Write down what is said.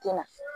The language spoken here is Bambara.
Ten na